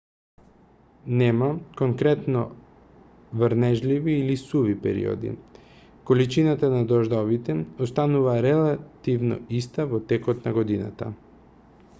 нема конкретно врнежливи или суви периоди количината на дождовите останува релативно иста во текот на годината